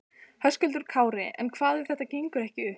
Höskuldur Kári: En hvað ef þetta gengur ekki upp?